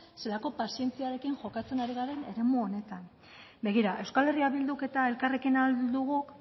zelako pazientziarekin jokatzen ari garen eremu honetan begira euskal herria bilduk eta elkarrekin ahal duguk